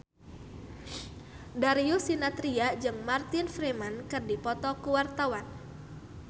Darius Sinathrya jeung Martin Freeman keur dipoto ku wartawan